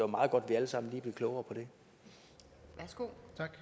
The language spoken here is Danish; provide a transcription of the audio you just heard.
meget godt vi alle sammen bliver klogere på